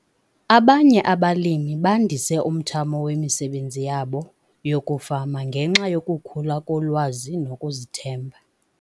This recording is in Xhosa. Abanye abalimi bandise umthamo wemisebenzi yabo yokufama ngenxa yokukhula kolwazi nokuzithemba.